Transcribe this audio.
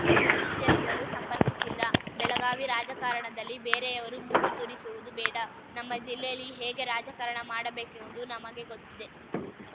ಬಿಜೆಪಿಯವರು ಸಂಪರ್ಕಿಸಿಲ್ಲ ಬೆಳಗಾವಿ ರಾಜಕಾರಣದಲ್ಲಿ ಬೇರೆಯವರು ಮೂಗು ತೂರಿಸುವುದು ಬೇಡ ನಮ್ಮ ಜಿಲ್ಲೆಯಲ್ಲಿ ಹೇಗೆ ರಾಜಕಾರಣ ಮಾಡಬೇಕೆಂಬುದು ನಮಗೆ ಗೊತ್ತಿದೆ